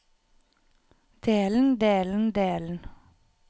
delen delen delen